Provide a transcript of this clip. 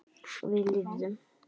Og við lifðum.